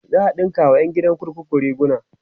za'a ɗinka wa ƴan gidan kurkuku riguna